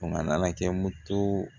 a nana kɛ moto